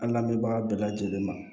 An lamɛnbaga bɛɛ lajɛlen ma